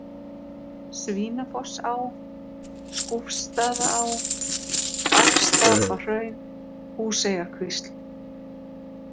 Svínafossá, Skúfsstaðaá, Afstapahraun, Húseyjarkvísl